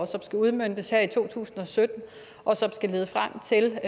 som skulle udmøntes her i to tusind og sytten og lede frem til